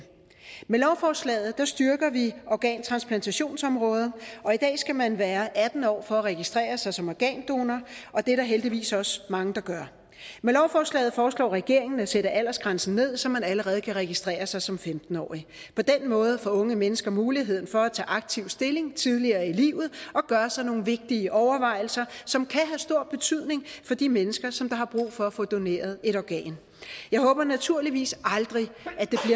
med lovforslaget styrker vi organtransplantationsområdet og i dag skal man være atten år for at registrere sig som organdonor og det er der heldigvis også mange der gør med lovforslaget foreslår regeringen at sætte aldersgrænsen ned så man allerede kan registrere sig som femten årig på den måde får unge mennesker mulighed for at tage aktiv stilling tidligt i livet og gøre sig nogle vigtige overvejelser som kan have stor betydning for de mennesker som har brug for at få doneret et organ jeg håber naturligvis aldrig